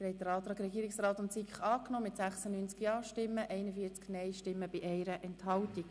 Sie haben dem Antrag Regierungsrat/SiK den Vorzug gegeben mit 96 Ja- gegen 41 Nein-Stimmen bei 1 Enthaltung.